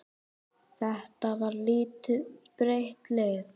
Þetta var lítið breytt lið?